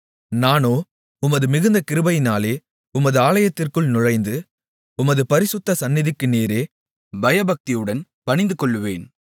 நானோ உமது மிகுந்த கிருபையினாலே உமது ஆலயத்திற்குள் நுழைந்து உமது பரிசுத்த சந்நிதிக்கு நேரே பயபக்தியுடன் பணிந்துகொள்ளுவேன்